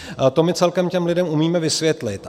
To my celkem těm lidem umíme vysvětlit.